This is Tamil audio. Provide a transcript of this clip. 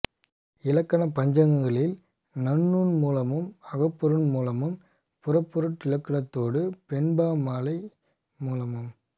இலக்கணப் பஞ்சகங்களில் நன்னூன் மூலமும் அகப்பொருண் மூலமும் புறப்பொருட் இலக்கியத்தோடு வெண்பா மாலை மூலமும்